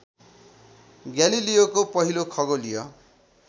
ग्यालिलियोको पहिलो खगोलीय